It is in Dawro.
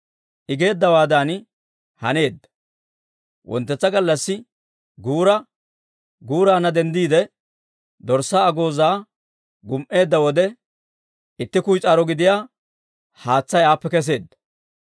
I geeddawaadan haneedda. Wonttetsa gallassi guura guuraanna denddiide, dorssaa agoozaa gum"eedda wode, itti kuyis'aaro gidiyaa haatsay aappe kesseedda.